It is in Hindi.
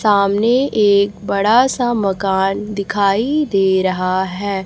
सामने एक बड़ा सा मकान दिखाई दे रहा है।